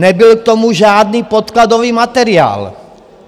Nebyl k tomu žádný podkladový materiál.